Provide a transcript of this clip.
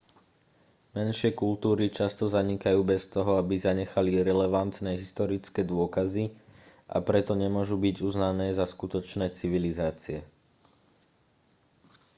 menšie kultúry často zanikajú bez toho aby zanechali relevantné historické dôkazy a preto nemôžu byť uznané za skutočné civilizácie